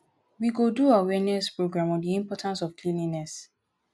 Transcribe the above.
we go do awareness program on the importance of cleanliness